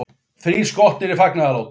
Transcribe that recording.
Þrír skotnir í fagnaðarlátum